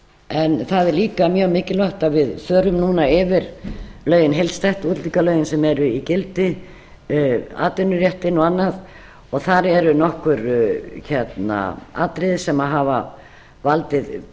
að það er líka mjög mikilvægt að við förum núna yfir lögin heildstætt útlendingalögin sem eru í gildi atvinnuréttinn og annað og þar eru nokkur atriði sem hafa valdið